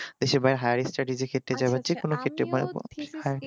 বা দেশে বাইরে higher studies এর জন্য যাবো